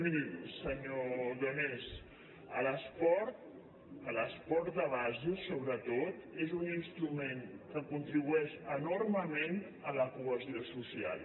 miri senyor donés l’esport l’esport de base sobretot és un instrument que contribueix enormement a la cohesió social